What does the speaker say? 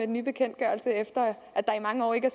nye bekendtgørelse efter at der i mange år ikke er